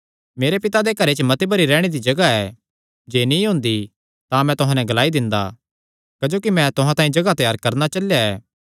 मेरे पिता दे घरे च मती भरी रैहणे दी जगाह ऐ जे नीं हुंदी तां मैं तुहां नैं ग्लाई दिंदा क्जोकि मैं तुहां तांई जगाह त्यार करणा चलेया ऐ